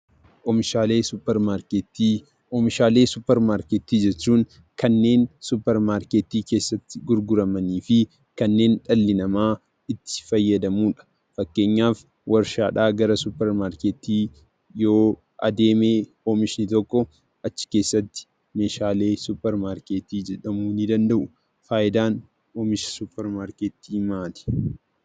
Oomishaalee suuparmaarketii jechuun kanneen suuparmaarketii keessatti gurguramanii fi kanneen dhalli namaa itti fayyadamuudha. Fakkeenyaaf waarshaadhaa gara suuparmaarketii yoo adeeme oomishni tokko achi keessatti meeshaalee suuparmaarketii jedhamuu ni danda'u. Faayidaan oomisha suuparmaarketii maali?